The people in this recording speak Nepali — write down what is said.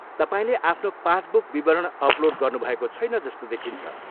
तपाईँले आफ्नो पासबुक विवरण अपलोड गर्नुभएको छैन जस्तो देखिन्छ।